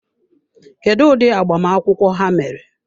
Kedụ ụdị agbamakwụkwọ ha mere?